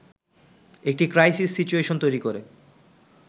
একটি crisis situation তৈরি করে